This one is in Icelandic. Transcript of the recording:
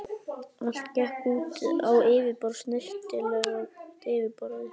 Allt gekk út á yfirborðið, snyrtilegt yfirborðið.